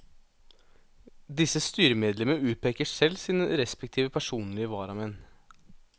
Disse styremedlemmer utpeker selv sine respektive personlige varamenn.